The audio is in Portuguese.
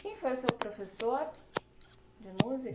Quem foi o seu professor de